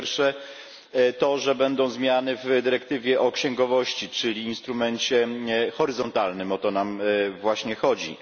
Po pierwsze to, że będą zmiany w dyrektywie o księgowości, czyli instrumencie horyzontalnym o to nam właśnie chodzi.